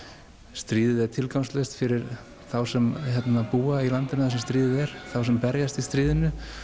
stríðið er tilgangslaust fyrir þá sem búa í landinu þar sem stríðið er þá sem berjast í stríðinu